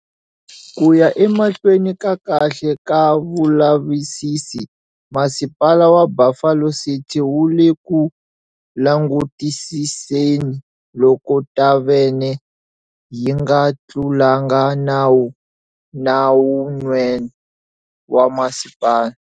Ku ya emahlweni ka kahle ka vulavisisi, Masipala wa Buffalo City wu le ku langutisiseni loko thavhene yi nga tlulanga nawu na wun'we wa masipala.